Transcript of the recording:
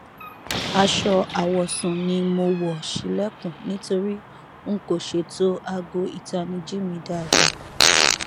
aṣọ awọsun ni mo wọ ṣilẹkun nitori n kò ṣeto aago itaniji mi daadaa